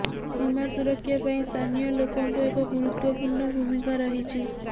ସୀମା ସୁରକ୍ଷା ପାଇଁ ସ୍ଥାନୀୟ ଲୋକଙ୍କ ଏକ ଗୁରୁତ୍ୱପୂର୍ଣ୍ଣ ଭୂମିକା ରହିଛି